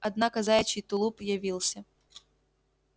однако заячий тулуп явился